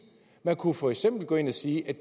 man kunne jo for eksempel gå ind og sige